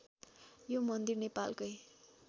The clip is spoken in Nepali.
यो मन्दिर नेपालकै